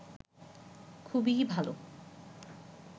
খুবই ভালো